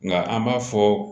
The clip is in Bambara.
Nka an b'a fɔ